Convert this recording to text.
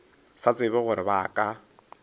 sa tsebe gore ba ka